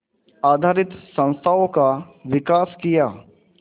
आधारित संस्थाओं का विकास किया